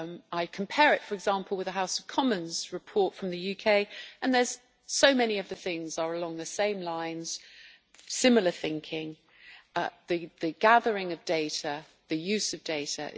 I compare it for example with a House of Commons report from the UK and so many of the things are along the same lines similar thinking, the gathering of data, the use of data.